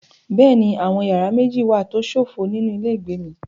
Bẹ́ẹ̀ni, àwọn yàrá méjì wà tó ṣófo nínú ilé ìgbé mi.